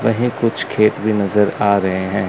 वहीं कुछ खेत भी नजर आ रहे हैं।